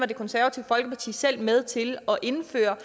det konservative folkeparti selv var med til at indføre